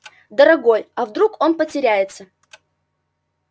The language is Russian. дорогой а вдруг он потеряется